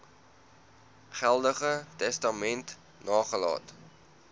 geldige testament nagelaat